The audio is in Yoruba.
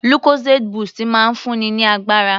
Lucozade boost máa ń fún mi ní agbára.